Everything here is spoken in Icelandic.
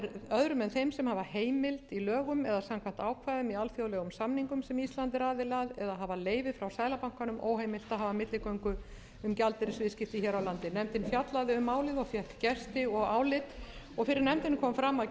samkvæmt ákvæðum í alþjóðlegum samningum sem ísland er aðili eða hafa leyfi frá seðlabankanum óheimilt að hafa milligöngu um gjaldeyrisviðskipti hér á landi nefndin fjallaði um málið og fékk gesti og álit fyrir nefndinni kom fram að